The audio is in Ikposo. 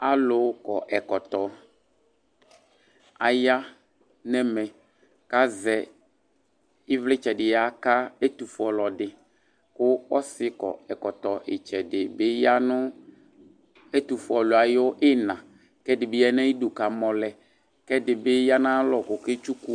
Alu kɔ ɛkɔtɔ aya nɛmɛ kazɛ ivlitsɛ di yaka ɛtufue ɔlɔdi ku ɔsi kɔ ɛkɔtɔ itsɛdi ya nu ɛtufuele ayu ina ku ɛdibi ya nu ayidu ku amɔlɛ ɛdibi ya nu ayalɔ ku ɔketsuku